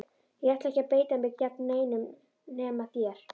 Ég ætla ekki að beita mér gegn neinum nema þér!